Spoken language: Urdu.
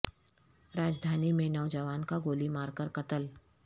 راجدھانی میں نو جوان کا گو لی مارکر قتل